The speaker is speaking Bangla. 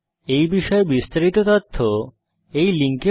এই বিষয়ে বিস্তারিত তথ্য এই লিঙ্কে প্রাপ্তিসাধ্য